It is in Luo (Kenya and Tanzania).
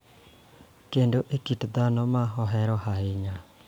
Kendo e kit ndhadho ma ahero ahinya.